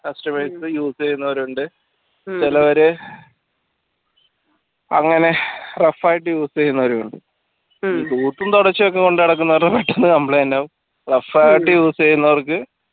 customers use ചെയ്യുന്നവരുണ്ട് ചെലവര് അങ്ങനെ rough ആയിട്ട് use ചെയ്യുന്നവരുണ്ട് complaint ആവും rough ആയിട്ട് use ചെയ്യുന്നവർക്ക്